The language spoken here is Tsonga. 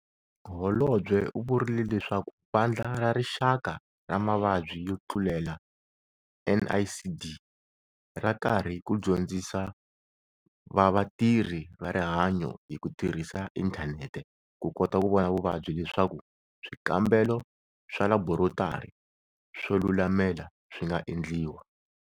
Holobye u vurile leswaku Vandla ra Rixaka ra Mavabyi yo Tlulela, NICD, ra karhi ku dyondzisa va vatirhi va rihanyo hi ku tirhisa inthanete ku kota ku vona vuvabyi leswaku swikambelo swa laborotari swo lulamela swi nga endliwa.